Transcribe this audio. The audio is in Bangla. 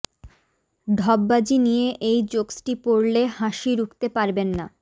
ঢপবাজি নিয়ে এই জোকসটি পড়লে হাসি রুখতে পারবেন না